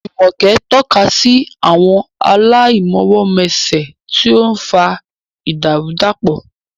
Jumoke tọ́ka sí àwọn aláìmọwọ́mẹsẹ̀, tí ó ń fa ìdàrúdàpọ̀.